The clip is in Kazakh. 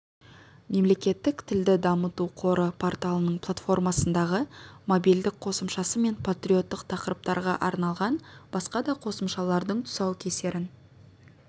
мемлекеттік тілді дамыту қоры порталының платформасындағы мобильдік қосымшасы мен патриоттық тақырыптарға арналған басқа да қосымшалардың тұсаукесерін